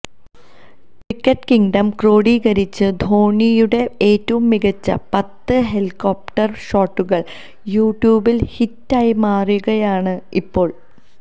cricket kingdom ക്രോഡീകരിച്ച ധോണിയുടെ ഏറ്റവും മികച്ച പത്ത് ഹെലികോപ്റ്റര് ഷോട്ടുകള് യൂട്യൂബില് ഹിറ്റായി മാറിയിരിക്കുകയാണ് ഇപ്പോള്